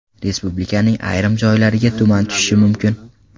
Respublikaning ayrim joylariga tuman tushishi mumkin.